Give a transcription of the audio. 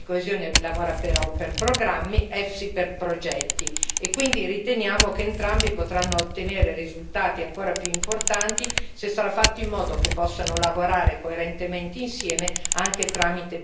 Quindi riteniamo che entrambi potranno ottenere risultati ancora più importanti se sarà fatto in modo che possano lavorare coerentemente insieme anche tramite piani integrati coprendo meglio tutto il territorio europeo.